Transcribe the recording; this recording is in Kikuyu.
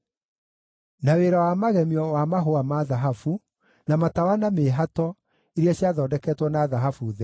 na wĩra wa magemio wa mahũa ma thahabu, na matawa na mĩĩhato (iria ciathondeketwo na thahabu theri);